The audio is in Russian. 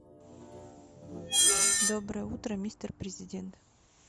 доброе утро мистер президент